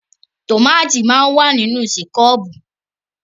Tòmati máa ń wà nínú kẹ́ṣọ̀pù.